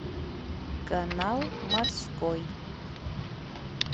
канал морской